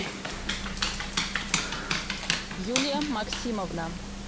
юлия максимовна